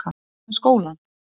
Og hvað með skólann?